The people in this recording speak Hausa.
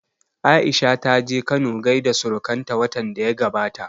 Aisha ta je Kano gaida surukan ta watan da ya gabata